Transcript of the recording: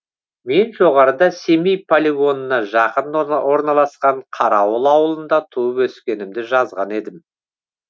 мен жоғарыда семей полигонына жақын орналасқан қарауыл ауылында туып өскенімді жазған едім